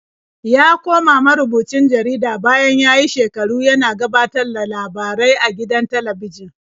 Ya koma marubucin jarida bayan ya yi shekaru yana gabatar da labarai a gidan talabijin.